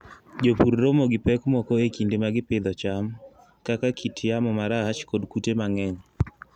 Jopur romo gi pek moko e kinde ma gipidho cham, kaka kit yamo marach kod kute mang'eny.